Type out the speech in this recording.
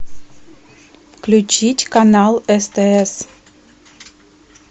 включить канал стс